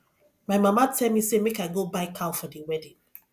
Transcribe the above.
my mama tell me say make i go buy cow for the wedding